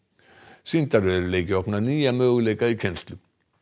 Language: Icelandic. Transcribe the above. sýndarveruleiki opnar nýja möguleika í kennslu